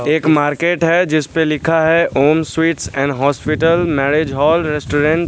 एक मार्केट है जिसपे लिखा है Om sweets and hospital marriage hall restaurant --